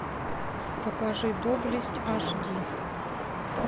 покажи доблесть аш ди